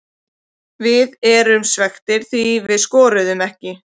Við erum svekktir því við skoruðum ekki.